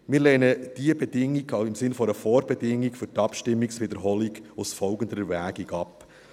Wir lehnen diese Bedingung auch im Sinne einer Vorbedingung für die Abstimmungswiederholung aufgrund folgender Erwägung ab: